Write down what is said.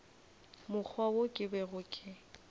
mokgwa wo ke bego ke